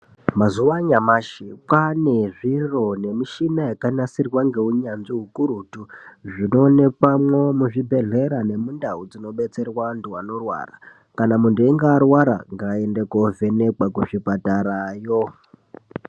Mazuwa anyamashi kwaane zviro nemishina yakanasirwa ngeunyanzvi ukurutu ,zvinoonekwamwo muzvibhedhlera nemundau dzinobetserwa antu anorwara. Kana muntu einga arwara ngaaende kovhenekwa kuzvipatarayo.